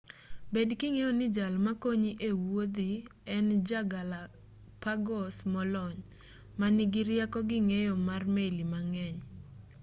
bed king'eyo ni jal makonyi e-wuodhi en ja galapagos molony ma nigi rieko gi ng'eyo mar meli mang'eny